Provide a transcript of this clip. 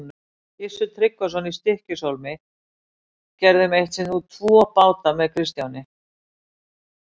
Gissur Tryggvason í Stykkishólmi gerðum eitt sinn út tvo báta með Kristjáni.